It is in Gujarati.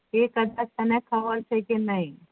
એ તને ખબર છે કે નઈ